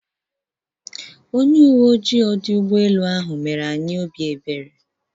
Onye uwe oji ọdụ ụgbọelu ahụ mere anyị obi ebere.